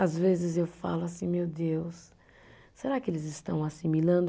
Às vezes eu falo assim, meu Deus, será que eles estão assimilando?